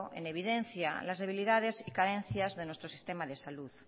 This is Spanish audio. en evidencia las debilidades y carencias de nuestro sistema de salud